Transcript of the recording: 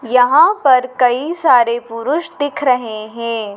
यहां पर कई सारे पुरुष दिख रहे हैं।